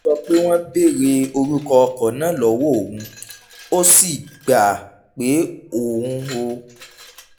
ó sọ pé wọ́n béèrè orúkọ ọkọ̀ náà lọ́wọ́ òun ó sì gbà pé òun ò